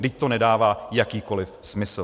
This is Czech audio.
Vždyť to nedává jakýkoliv smysl.